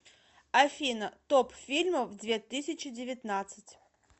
афина топ фильмов две тысячи девятнадцать